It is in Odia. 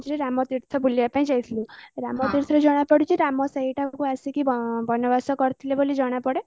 ରାମତୀର୍ଥ ବୁଲିବା ପାଇଁ ଯାଇଥିଲୁ ରାମଙ୍କ ବିଷୟରେ ଜଣା ପଡିଛି ରାମ ସେଇଠାକୁ ଆସିକି ବନବାସ କରିଥିଲେ ବୋଲି ଜଣା ପଡେ